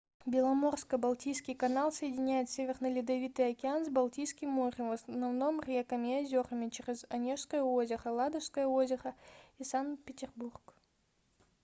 беломорско-балтийский канал соединяет северный ледовитый океан с балтийским морем в основном реками и озерами через онежское озеро ладожское озеро и санкт-петербург